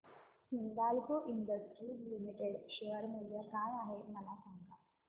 Hindalco Industries Limited share मूल्य काय आहे मला सांगा